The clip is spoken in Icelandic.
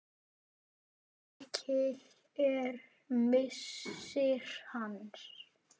Mikill er missir hans.